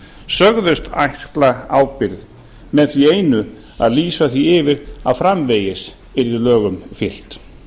sögðust axla ábyrgð með því einu að lýsa því yfir að framvegis yrðu lögum fylgt